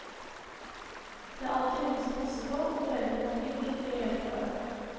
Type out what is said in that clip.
Det er alltid noen som passer på og foreldrene er flinke til å hjelpe hverandre.